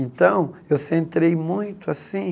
Então, eu centrei muito, assim,